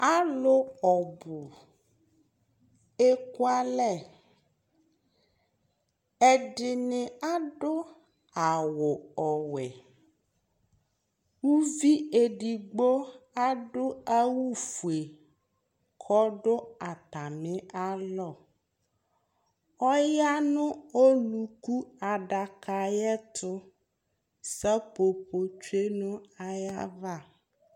alò ɔbu eku alɛ ɛdini adu awu ɔwɛ uvi edigbo adu awu fue k'ɔdu atami alɔ ɔya no oluku adaka ayi ɛto seƒoƒo tsue no ayi ava